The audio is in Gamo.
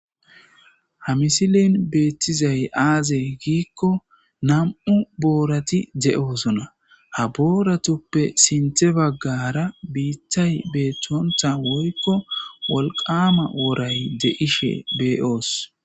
Ha misilin beettizay aazey giikko nam'u boorati de'osona ha booratuppe sinte baggara biittay beettonta woykko wolqama woray de'ishe beeoos